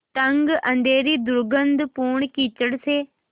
तंग अँधेरी दुर्गन्धपूर्ण कीचड़ से